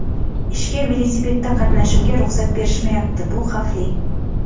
Ishga velosipedda qatnashimga ruxsat berishmayapti bu xavfli.